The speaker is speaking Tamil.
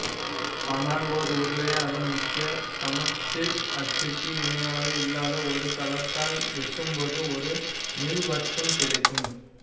ஆனால் ஓர் உருளையை அதன் முக்கிய சமச்சீர் அச்சுக்கு இணையாக இல்லாத ஒரு தளத்தால் வெட்டும்போதும் ஒரு நீள்வட்டம் கிடைக்கும்